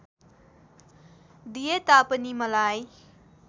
दिए तापनि मलाई